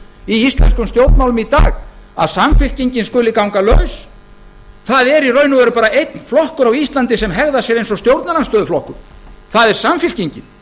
íslenskum stjórnmálum í dag að samfylkingin skuli ganga laus það er í raun og veru bara einn flokkur á íslandi sem hegðar sér eins og stjórnarandstöðuflokkur það er samfylkingin